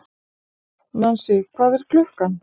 Nansý, hvað er klukkan?